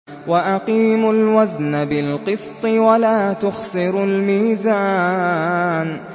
وَأَقِيمُوا الْوَزْنَ بِالْقِسْطِ وَلَا تُخْسِرُوا الْمِيزَانَ